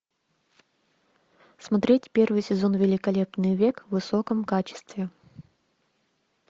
смотреть первый сезон великолепный век в высоком качестве